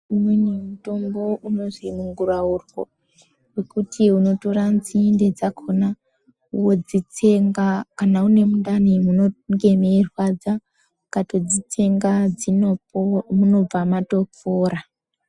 Umweni mutombo unozwi munguraurwe ,wekuti unotora nzinde dzakhona, wodzitsenga kana une mundani munonge meirwadza, ukatodzitsenga dzinopo munobva matopora.